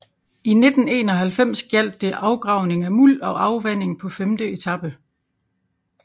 I 1991 gjaldt det afgravning af muld og afvanding på femte etape